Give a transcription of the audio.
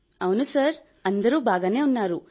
అవును సార్ అందరూ బాగానే ఉన్నారు